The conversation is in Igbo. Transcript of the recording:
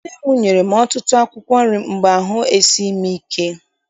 Nne m nyere m ọtụtụ akwụkwọ nri mgbe ahụ esighị m ike.